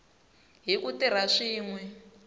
hi ku tirha swin we